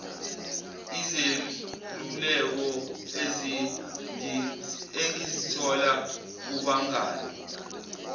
izeluleko engizithola kubangani